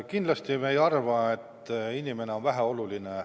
Kindlasti me ei arva, et inimene on väheoluline.